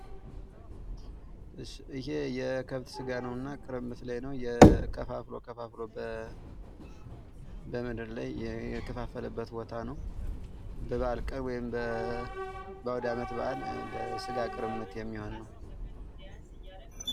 ይህ የከብት ስጋ ነውና ቅርምት ላይ ነው። ከፋፍሎ ከፋፍሎ በምድር ላይ የከፋፋለበት ቦታ ነው ።በበዓል ቀን ወይም በአውደ አመት በዓል ለስጋ ቅርምት የሚሆን ነው ።